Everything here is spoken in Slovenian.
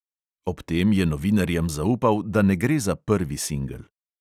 Ob tem je novinarjem zaupal, da ne gre za prvi singel.